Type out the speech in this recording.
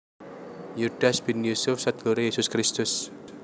Yudas bin Yusuf seduluré Yesus Kristus